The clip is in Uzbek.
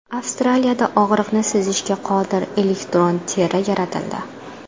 Avstraliyada og‘riqni sezishga qodir elektron teri yaratildi.